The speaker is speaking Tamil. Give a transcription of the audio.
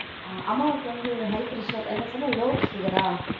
அம்மாவுக்கு வந்து high pressure என்ன சொன்ன? low sugar ஆ?